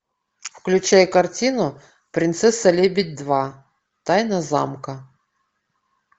включай картину принцесса лебедь два тайна замка